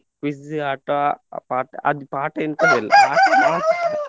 Quiz ಆಟ, ಪಾಠ ಅದು ಪಾಠ ಎಂತದು ಇಲ್ಲ ಆಟ ಮಾತ್ರ .